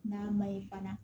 N'a ma ye bana